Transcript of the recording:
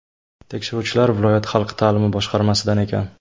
Tekshiruvchilar viloyat xalq ta’limi boshqarmasidan ekan.